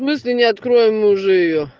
в смысле не откроем уже её